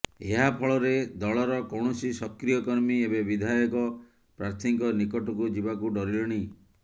ଏହା ଫଳରେ ଦଳର କୌଣସି ସକ୍ରିୟ କର୍ମୀ ଏବେ ବିଧାୟକ ପ୍ରାର୍ଥୀଙ୍କ ନିକଟକୁ ଯିବାକୁ ଡରିଲେଣି